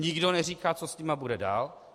Nikdo neříká, co s nimi bude dál.